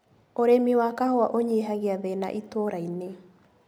ũrĩmi wa kahũa ũnyihagia thĩna itũrainĩ.